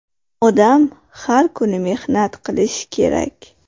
Odam har kuni mehnat qilishi kerak!